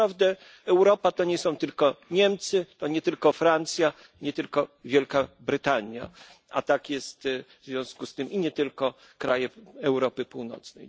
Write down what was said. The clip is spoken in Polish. Naprawdę, Europa to nie są tylko Niemcy, to nie tylko Francja, nie tylko Wielka Brytania a tak jest w związku z tym nie tylko kraje Europy Północnej.